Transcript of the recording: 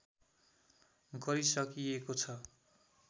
गरिसकिएको छ